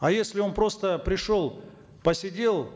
а если он просто пришел посидел